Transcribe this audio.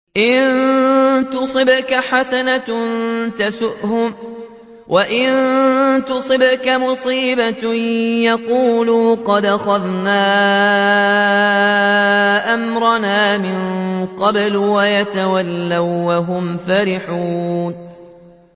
إِن تُصِبْكَ حَسَنَةٌ تَسُؤْهُمْ ۖ وَإِن تُصِبْكَ مُصِيبَةٌ يَقُولُوا قَدْ أَخَذْنَا أَمْرَنَا مِن قَبْلُ وَيَتَوَلَّوا وَّهُمْ فَرِحُونَ